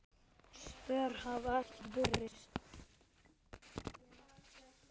Svör hafa ekki borist.